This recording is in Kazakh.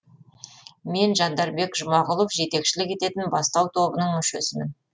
мен жандарбек жұмағұлов жетекшілік ететін бастау тобының мүшесімін